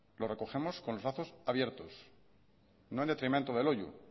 lo recogemos con los brazos abiertos no en detrimento de loiu